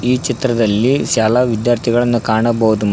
ಈ ಚಿತ್ರದಲ್ಲಿ ಶಾಲಾ ವಿದ್ಯಾರ್ಥಿಗಳನ್ನು ಕಾಣಬಹುದು.